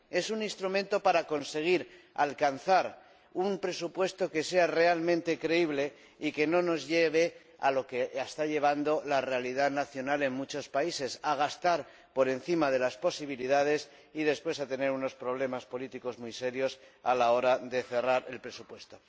Es un instrumento para conseguir alcanzar un presupuesto que sea realmente creíble y que no nos lleve a lo que está llevando la realidad nacional en muchos países a gastar por encima de las posibilidades y después a tener unos problemas políticos muy serios a la hora de cerrar el presupuesto.